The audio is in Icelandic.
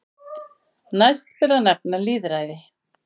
Næst ber að nefna lýðræði.